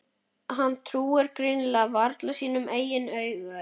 Hann trúir greinilega varla sínum eigin augum.